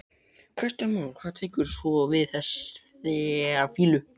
Kristján Már: Hvað tekur svo við þegar þessu lýkur?